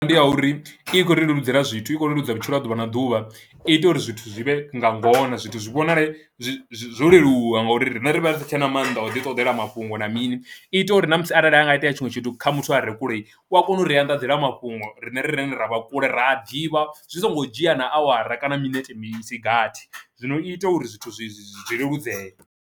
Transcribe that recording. Ndi ha uri i khou ri leludzela zwithu i khou leludza vhutshilo ha ḓuvha na ḓuvha i ita uri zwithu zwi vhe nga ngona zwithu zwi vhonale zwo leluwa ngauri riṋe ri vha ri si tshena mannḓa o ḓi ṱoḓela mafhungo na mini, i ita uri na musi a arali anga itea tshinwe tshithu kha muthu a re kule u a kona u ri anḓadzela mafhungo riṋe rine ra vha kule ra a ḓivha zwi songo dzhia na awara kana minete mini isigathi zwino ita uri zwithu zwi zwi leludzee.